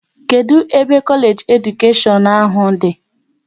Kedụ ebe Kolage nke Edukashion ahụ dị?